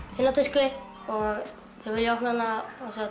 finna tösku þeir vilja opna hana